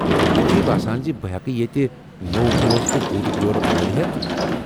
ژےٚ چھُیہِ باسان بہٕ ہیٮ۪کہِ ییٚتہِ نوو موزٕ تہٕ بوُٹہٕ جوُرِ موٚلہِ ہیتھ ؟